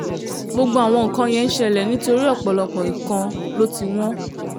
gbogbo àwọn nǹkan yẹn ń ṣẹlẹ̀ nítorí ọ̀pọ̀lọpọ̀ nǹkan ló ti wọ̀